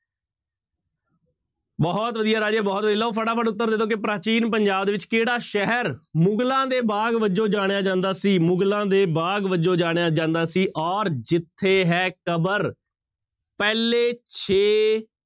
ਬਹੁਤ ਵਧੀਆ ਰਾਜੇ ਬਹੁਤ ਵਧੀ ਲਓ ਫਟਾਫਟ ਉੱਤਰ ਦੇ ਦਓ ਕਿ ਪ੍ਰਾਚੀਨ ਪੰਜਾਬ ਦੇ ਵਿੱਚ ਕਿਹੜਾ ਸ਼ਹਿਰ ਮੁਗ਼ਲਾਂ ਦੇ ਬਾਗ਼ ਵਜੋਂ ਜਾਣਿਆ ਜਾਂਦਾ ਸੀ, ਮੁਗ਼ਲਾਂ ਦੇ ਬਾਗ਼ ਵਜੋਂ ਜਾਣਿਆ ਜਾਂਦਾ ਸੀ ਔਰ ਜਿੱਥੇ ਹੈ ਕਬਰ ਪਹਿਲੇ ਛੇ